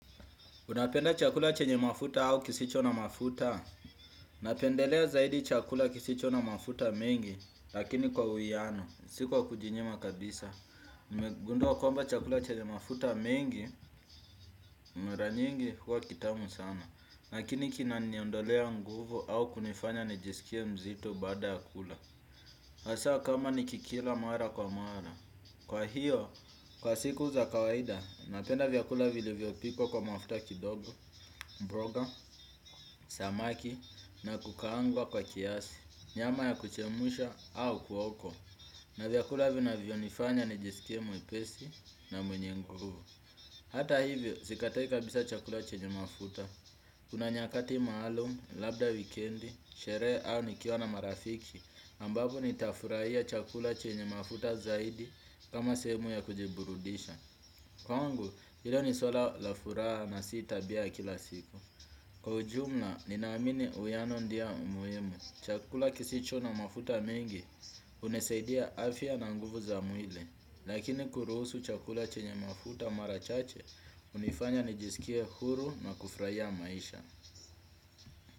Unapenda chakula chenye mafuta au kisicho na mafuta? Napendelea zaidi chakula kisicho na mafuta mengi, lakini kwa uwiano, si kwa kujinyima kabisa. Nimegundua kwamba chakula chenye mafuta mengi, mara nyingi, huwa kitamu sana. Lakini kinaniondolea nguvu ama kunifanya nijiskie mzito baada ya kula hasa kama nikikila mara kwa mara. Kwa hiyo, kwa siku za kawaida, napenda vyakula vilivyopikwa kwa mafuta kidogo, mboga. Samaki na kukaangwa kwa kiasi, nyamba ya kuchemshwa au kuokwa na vyakula vinavyonifanya nijiskie mwepesi na mwenye nguvu hata hivyo sikatai kabisa chakula chenye mafuta kuna nyakati maalum, labda wikendi, sherehe au nikiwa na marafiki ambapo nitafurahia chakula chenye mafuta zaidi kama sehemu ya kujiburudisha kwangu hilo ni suala la furaha na sita tabia ya kila siku kwa ujumla, ninaamini uwiano ndio muhimu chakula kisicho na mafuta mengi, unasaidia afya na nguvu za mwili. Lakini kuruhusu chakula chenye mafuta mara chache, hunifanya nijisikie huru na kufurahia maisha.